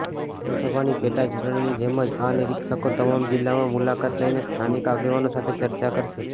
વિધાનસભાની પેટાચૂંટણીની જેમ જ આ નિરીક્ષકો તમામ જિલ્લામાં મુલાકાત લઈને સ્થાનિક આગેવાનો સાથે ચર્ચા કરશે